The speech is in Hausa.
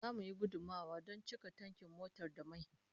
Zamu yi gudummawa don cika tankin motar da mai